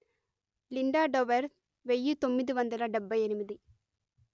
Linda Dover వెయ్యి తొమ్మిది వందల డెబ్బై ఎనిమిది